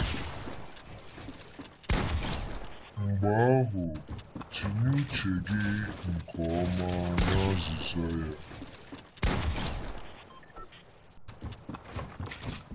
Mgbe ahụ tinye uche gị nke ọma na azịza ya.